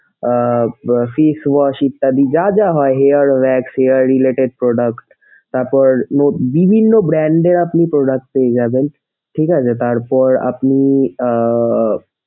আহ face wash ইত্যাদি যা যা হয় hair wax, hair related product তারপর বিভিন্ন brand এর আপনি product পেয়ে যাবেন। ঠিক আছে তারপর আপনি আহ,